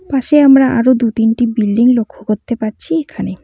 পাশে আমরা আরো দু তিনটি বিল্ডিং লক্ষ করতে পাচ্ছি এখানে।